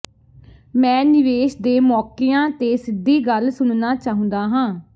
ਮੈਂ ਨਿਵੇਸ਼ ਦੇ ਮੌਕਿਆਂ ਤੇ ਸਿੱਧੀ ਗੱਲ ਸੁਣਨਾ ਚਾਹੁੰਦਾ ਹਾਂ